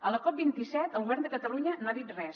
a la cop27 el govern de catalunya no ha dit res